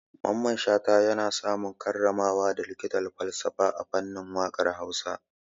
Mamman Shata ya samu karramawa da likitan falsafa a fannin waƙar Hausa.